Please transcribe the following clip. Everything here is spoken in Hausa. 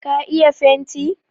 ka iya fenti?